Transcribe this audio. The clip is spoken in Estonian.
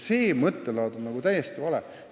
See mõttelaad on täiesti vale.